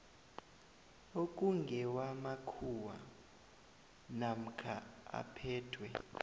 okungewamakhuwa namkha aphethwe